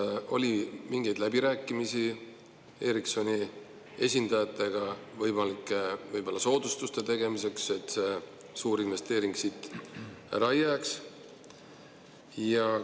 Kas oli mingeid läbirääkimisi Ericssoni esindajatega võimalike soodustuste tegemiseks, et see suurinvesteering ära ei jääks?